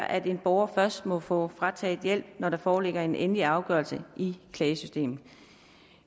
at en borger først må få frataget hjælp når der foreligger en endelig afgørelse i klagesystemet